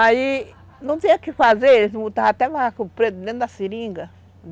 Aí não tinha o que fazer, eles botavam até macaco preto dentro da seringa.